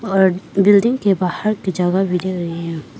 और बिल्डिंग के बाहर की जगह भी दे रही है।